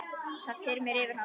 Það þyrmir yfir hana.